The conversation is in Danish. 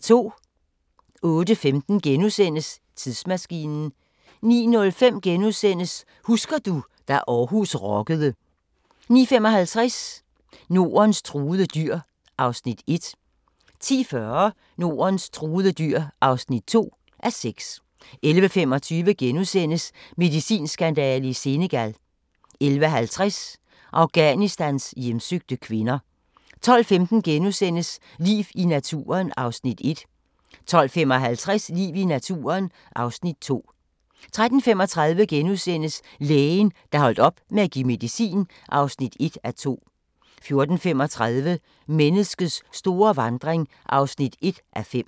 08:15: Tidsmaskinen * 09:05: Husker du – da Aarhus rockede * 09:55: Nordens truede dyr (1:6) 10:40: Nordens truede dyr (2:6) 11:25: Medicinskandale i Senegal * 11:50: Afghanistans hjemsøgte kvinder 12:15: Liv i naturen (Afs. 1)* 12:55: Liv i naturen (Afs. 2) 13:35: Lægen, der holdt op med at give medicin (1:2)* 14:35: Menneskets store vandring (1:5)